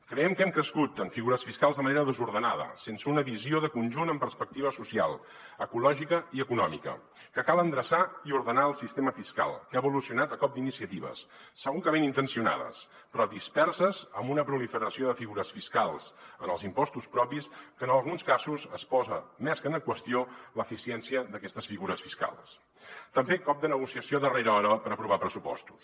creiem que hem crescut en figures fiscals de manera desordenada sense una visió de conjunt amb perspectiva social ecològica i econòmica que cal endreçar i ordenar el sistema fiscal que ha evolucionat a cop d’iniciatives segur que ben intencionades però disperses amb una proliferació de figures fiscals en els impostos propis que en alguns casos es posa més que en qüestió l’eficiència d’aquestes figures fiscals també cop de negociació a darrera hora per aprovar pressupostos